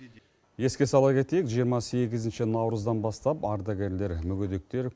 еске сала кетейік жиырма сегізінші наурыздан бастап ардагерлер мүгедектер